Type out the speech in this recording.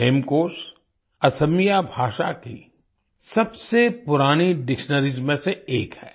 हेमकोश असमिया भाषा की सबसे पुरानी डिक्शनरीज में से एक है